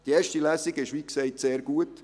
Die erste Lesung lief wie gesagt sehr gut.